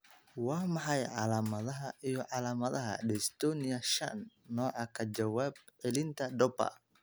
Waa maxay calaamadaha iyo calaamadaha Dystonia shan, nooca ka jawaab celinta Dopa?